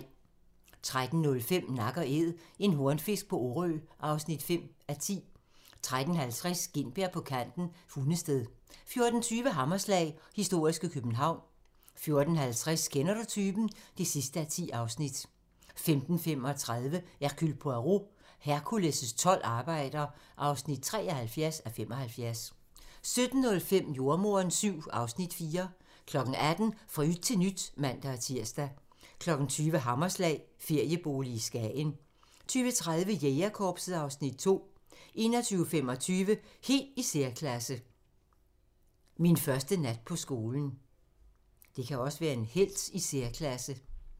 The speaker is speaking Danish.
13:05: Nak & Æd - en hornfisk på Orø (5:10) 13:50: Gintberg på kanten – Hundested 14:20: Hammerslag - historiske København 14:50: Kender du typen? (10:10) 15:35: Hercule Poirot: Hercules' tolv arbejder (73:75) 17:05: Jordemoderen VII (Afs. 4) 18:00: Fra yt til nyt (man-tir) 20:00: Hammerslag - feriebolig i Skagen 20:30: Jægerkorpset (Afs. 2) 21:25: Helt i særklasse – Min første nat på skolen